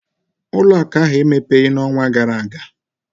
ụlọ akụ ahụ emepebeghị n'ọnwa gara aga